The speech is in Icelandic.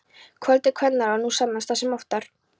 Köld eru kvennaráð, nú sannast það sem oftar.